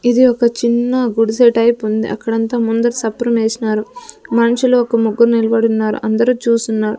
ఇది ఒక చిన్న గుడిసె టైపుంది అక్కడంతా ముందర సప్రమేసినారు మనుషులు ఒక ముగ్గురు నిల్బడున్నారు అందరూ చూస్తున్నారు.